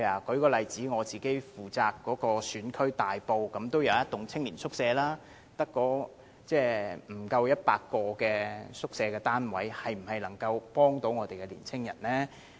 舉例說，在我負責的大埔也有一幢青年宿舍，但宿舍單位數目不足100個，這是否能夠協助年青人呢？